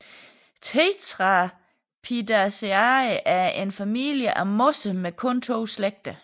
Tetraphidaceae er en familie af mosser med kun to slægter